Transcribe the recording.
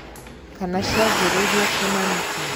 Kana cianjĩrĩirie kũũ na nĩ kĩ?